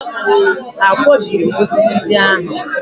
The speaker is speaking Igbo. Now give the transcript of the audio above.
Ha akwọbiri m osisi ndị ahụ?